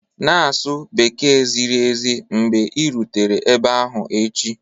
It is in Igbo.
Na-asụ Bekee ziri ezi mgbe ị rutere ebe ahụ echi